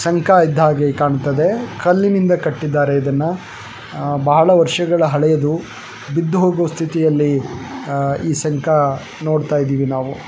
ಶಂಖ ಇದ್ದಾಗೆ ಕಾಣ್ತದೆ ಕಲ್ಲಿನಿಂದ ಕಟ್ಟಿದ್ದಾರೆ ಇದನ್ನ ಬಹಳ ವರ್ಷಗಳ ಹಳೇದು ಬಿದ್ದು ಹೋಗೋ ಸ್ಥಿತಿಯಲ್ಲಿ ಆಹ್ಹ್ ಈ ಶಂಖ ನೋಡ್ತಾ ಇದಿವಿ ನಾವು.